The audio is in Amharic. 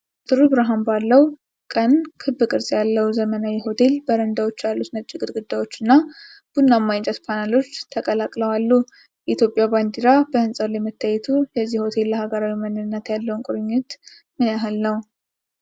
ጥሩ ብርሃን ባለው ቀን ክብ ቅርጽ ያለው ዘመናዊ ሆቴል፣ በረንዳዎች ያሉት ነጭ ግድግዳዎች እና ቡናማ የእንጨት ፓነሎች ተቀላቅለው አሉ፤ የኢትዮጵያ ባንዲራ በህንፃው ላይ መታየቱ የዚህ ሆቴል ለሀገራዊ ማንነት ያለው ቁርጠኝነት ምን ያህል ነው?